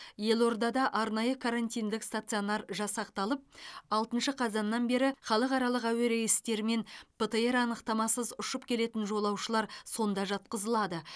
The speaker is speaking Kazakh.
елордада арнайы карантиндік стационар жасақталып алтыншы қазаннан бері халықаралық әуе рейстерімен птр анықтамасыз ұшып келетін жолаушылар сонда жатқызылады